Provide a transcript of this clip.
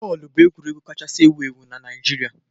Bọọlụ bụ egwuregwu kacha ewu ewu n'ụwa